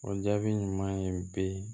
O jaabi ɲuman ye bi